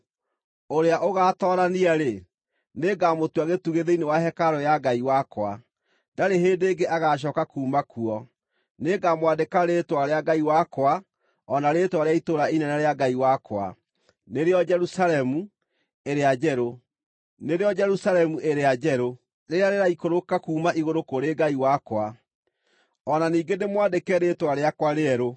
Ũrĩa ũgaatoorania-rĩ, nĩngamũtua gĩtugĩ thĩinĩ wa hekarũ ya Ngai wakwa. Ndarĩ hĩndĩ ĩngĩ agacooka kuuma kuo. Nĩngamwandĩka rĩĩtwa rĩa Ngai wakwa o na rĩĩtwa rĩa itũũra inene rĩa Ngai wakwa, nĩrĩo Jerusalemu ĩrĩa njerũ, rĩrĩa rĩraikũrũka kuuma igũrũ kũrĩ Ngai wakwa; o na ningĩ ndĩmwandĩke rĩĩtwa rĩakwa rĩerũ.